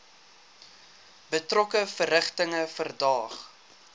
betrokke verrigtinge verdaag